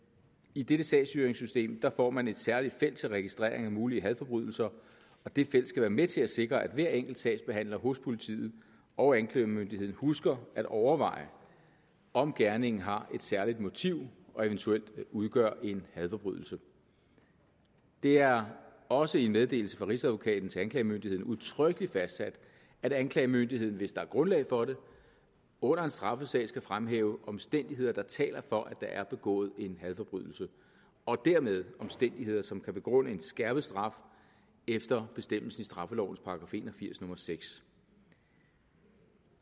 i dette sagsstyringssystem får man et særligt felt til registrering af mulige hadforbrydelser og det felt skal være med til at sikre at hver enkelt sagsbehandler hos politiet og anklagemyndigheden husker at overveje om gerningen har et særligt motiv og eventuelt udgør en hadforbrydelse det er også i en meddelelse fra rigsadvokaten til anklagemyndigheden udtrykkeligt fastsat at anklagemyndigheden hvis der er grundlag for det under en straffesag skal fremhæve omstændigheder der taler for at der er begået en hadforbrydelse og dermed omstændigheder som kan begrunde en skærpet straf efter bestemmelsen i straffelovens § en og firs nummer sjette